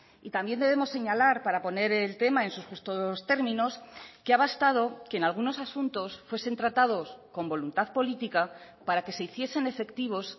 y también debemos señalar para poner el tema en sus justos términos que ha bastado que en algunos asuntos fuesen tratados con voluntad política para que se hiciesen efectivos